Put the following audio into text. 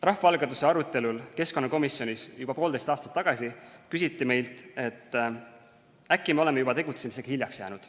Rahvaalgatuse arutelul keskkonnakomisjonis juba poolteist aastat tagasi küsiti meilt, ega me äkki ole juba tegutsemisega hiljaks jäänud.